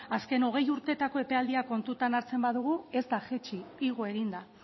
azken hogei urtetako epealdiak kontutan hartzen baldin badugu ez da jaitsi igo egin da